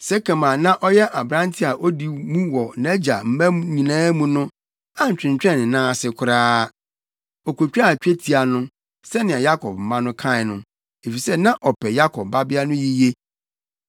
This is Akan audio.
Sekem a na ɔyɛ aberante a odi mu wɔ nʼagya mma nyinaa mu no antwentwɛn ne nan ase koraa. Okotwaa twetia no, sɛnea Yakob mma no kae no, efisɛ na ɔpɛ Yakob babea no yiye.